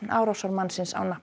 árásarmanninn á nafn